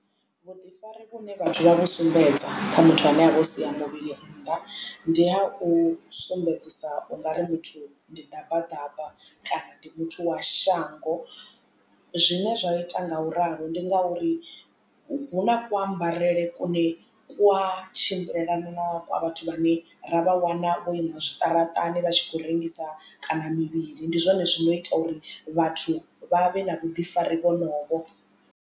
Vhuḓifari vhune vhathu vha vhu sumbedza kha muthu ane a vho sia muvhili nnḓa ndi ha u sumbedzisa ungari muthu ndi ḓabaḓaba kana ndi muthu wa shango zwine zwa ita ngauralo ndi ngauri hu na ku ambarele kune kwa tshimbilelana na kwa vhathu vhane ra vha wana vho ima zwiṱaraṱani vha tshi khou rengisa kana mivhili ndi zwone zwo no ita uri vhathu vha vhe na vhuḓifari vhonovho.